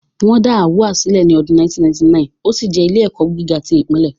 Wọ́n dá AAUA sílẹ̀ ní ọdún 1999, ó sì jẹ́ ilé-ẹ̀kọ́ gíga tí ìpínlẹ̀